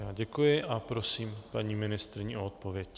Já děkuji a prosím paní ministryni o odpověď.